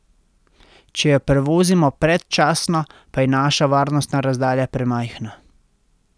Če jo prevozimo predčasno, pa je naša varnostna razdalja premajhna.